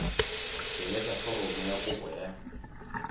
tsweletsa foromo ya kopo ya